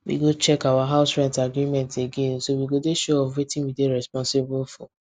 we go check our house rent agreement again so we go dey sure of wetin we dey responsible for